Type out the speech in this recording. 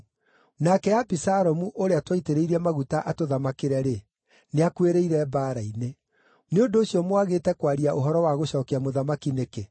nake Abisalomu ũrĩa twaitĩrĩirie maguta atũthamakĩre-rĩ, nĩakuĩrĩire mbaara-inĩ. Nĩ ũndũ ũcio mwagĩte kwaria ũhoro wa gũcookia mũthamaki nĩkĩ?”